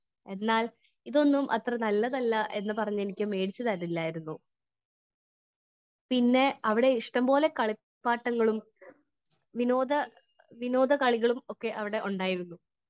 Speaker 1 എന്നാൽ ഇതൊന്നും അത്ര നല്ലതല്ല എന്ന് പറഞ്ഞ് എനിക്ക് മേടിച്ച് തരില്ലായിരുന്നു. പിന്നെ അവിടെ ഇഷ്ടം പോലെ കളിപ്പാട്ടങ്ങളും വിനോദ വിനോദ കളികളും ഒക്കെ അവിടെ ഉണ്ടായിരുന്നു.